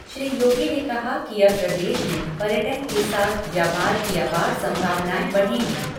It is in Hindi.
श्री योगी ने कहा कि अब प्रदेश में पर्यटन के साथ व्यापार की अपार संभावनाएँ बढ़ेंगी।